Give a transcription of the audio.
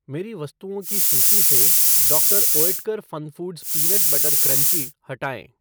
मेरी वस्तुओं की सूची से doctor Oetker FunFoods peanut butter crunchy हटाएँ